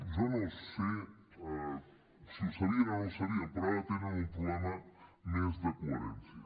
jo no sé si ho sabien o no ho sabien però ara tenen un problema més de coherència